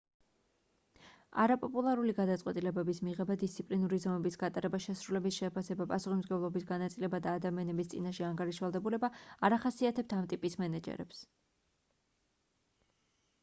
არაპოპულარული გადაწყვეტილებების მიღება დისციპლინური ზომების გატარება შესრულების შეფასება პასუხისმგებლობის განაწილება და ადამიანების წინაშე ანგარიშვალდებულება არ ახასიათებთ ამ ტიპის მენეჯერებს